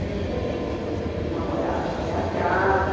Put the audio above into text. Meu namorado foi atrás.